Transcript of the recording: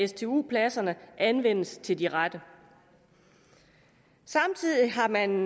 stu pladserne anvendes til de rette samtidig har man